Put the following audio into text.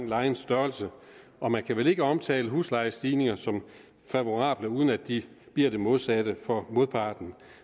lejens størrelse og man kan vel ikke omtale huslejestigninger som favorable uden at de bliver det modsatte for modparten